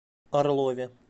орлове